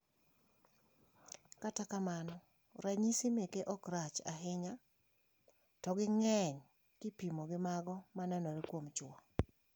Kata kamano, ranyisi meke okrach ahinya to ging`eny kopim gi mago maneno kuom chuo.